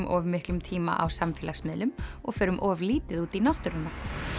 of miklum tíma á samfélagsmiðlum og förum of lítið út í náttúruna